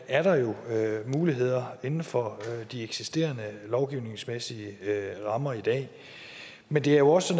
er der jo muligheder inden for de eksisterende lovgivningsmæssige rammer i dag men det er jo også